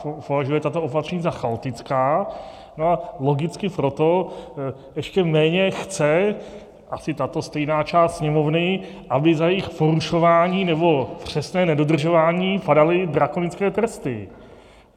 Považuje tato opatření za chaotická, no a logicky proto ještě méně chce asi tato stejná část Sněmovny, aby za jejich porušování nebo přesné nedodržování padaly drakonické tresty.